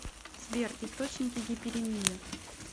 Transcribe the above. сбер источники гиперемия